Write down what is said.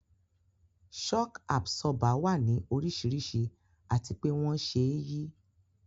Shock Absorber wà ní oríṣiríṣi àti pé wón ṣe é yí